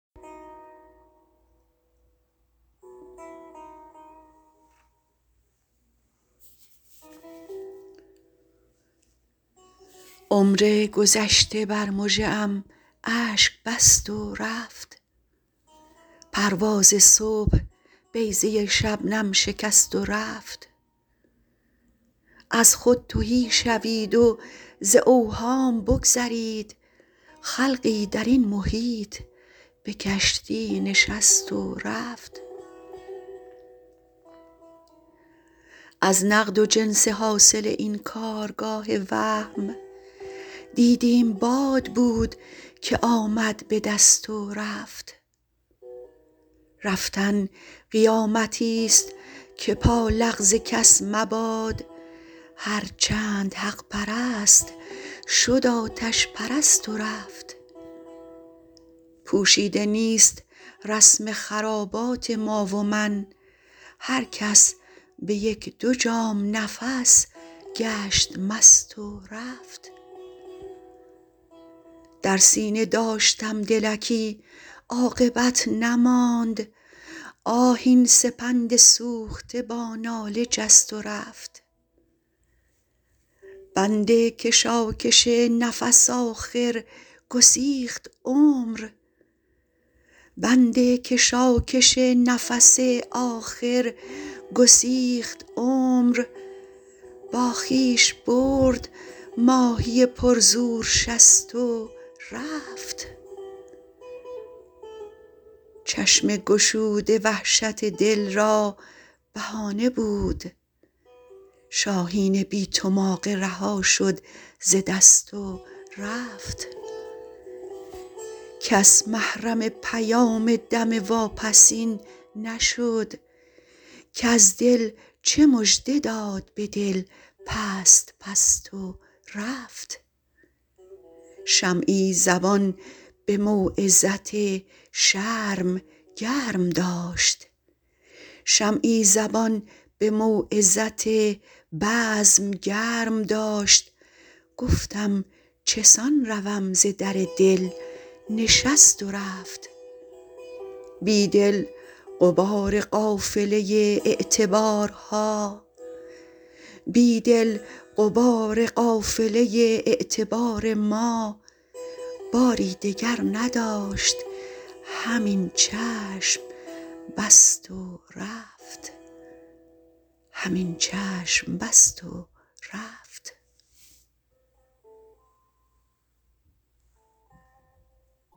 عمرگذشته بر مژه ام اشک بست و رفت پرواز صبح بیضه شبنم شکست و رفت از خود تهی شوید و ز اوهام بگذرید خلقی درین محیط به کشتی نشست و رفت از نقد و جنس حاصل این کارگاه وهم دیدیم باد بودکه آمد به دست و رفت رفتن قیامتی ست که پا لغز کس مباد هرچند حق پرست شد اتش پرست و رفت پوشیده نیست رسم خرابات ما و من هرکس بهه یک دو جام نفس گشت مست و رفت در سینه داشتم دلکی عاقبت نماند آه این سپند سوخته با ناله جست و رفت بند کشاکش نفس آخر گسیخت عمر با خویش برد ماهی پر زور شصت و رفت چشم گشوده وحشت دل را بهانه بود شاهین بی تماغه رها شد ز دست و رفت کس محرم پیام دم واپسین نشد کز دل چه مژده داد به دل پست پست و رفت شمعی زبان موعظت بزم گرم داشت گفتم چسان روم ز در دل نشست و رفت بیدل غبار قافله اعتبار ما باری دگر نداشت همین چشم بست و رفت